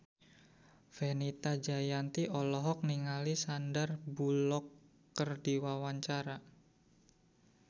Fenita Jayanti olohok ningali Sandar Bullock keur diwawancara